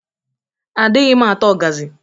Adịghị m ata ọgazị.